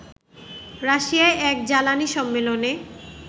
রাশিয়ায় এক জ্বালানী সম্মেলনে